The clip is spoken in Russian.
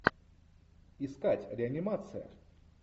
искать реанимация